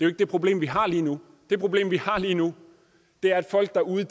jo ikke det problem vi har lige nu det problem vi har lige nu er at folk derude